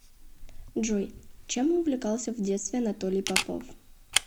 джой чем увлекался в детстве анатолий попов